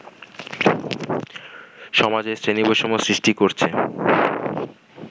সমাজে শ্রেণীবৈষম্য সৃষ্টি করছে